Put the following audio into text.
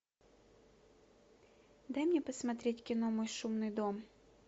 дай мне посмотреть кино мой шумный дом